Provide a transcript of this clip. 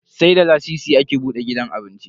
Sai da lasisi ake buda gidan cin abinci.